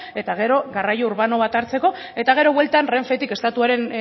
eta gero garraio urbano bat hartzeko eta gero bueltan renfetik estatuaren